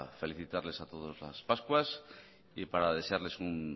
felicitarles a todos las pascuas y para desearles un